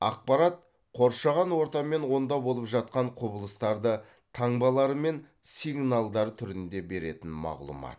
ақпарат қоршаған орта мен онда болып жатқан құбылыстарды таңбалары мен сигналдар түрінде беретін мағлұмат